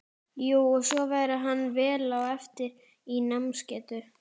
Jú, og svo væri hann vel á eftir í námsgetu.